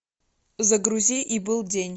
загрузи и был день